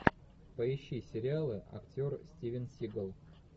поищи сериалы актер стивен сигал